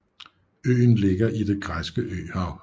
Øen ligger i Det græske Øhav